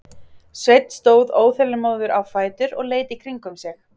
Sveinn stóð óþolinmóður á fætur og leit í kringum sig.